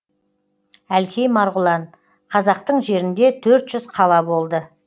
әлкей марғұлан қазақтың жерінде төрт жүз қала болды